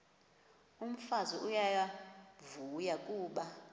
umfazi uyavuya kuba